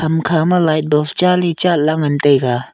hamkha ma light bulb chale chat la ngan taiga.